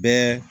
Bɛɛ